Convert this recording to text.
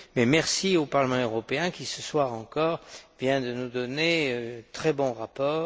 mais merci au Parlement européen qui, ce soir encore, vient de nous donner un très bon rapport.